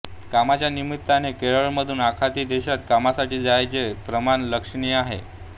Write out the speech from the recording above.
कामाच्या निमित्ताने केरळमधून आखाती देशात कामासाठी जाण्याचे प्रमाण लक्षणीय आहे